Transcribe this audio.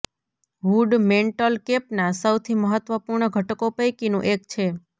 hood mantle કેપના સૌથી મહત્વપૂર્ણ ઘટકો પૈકીનું એક છે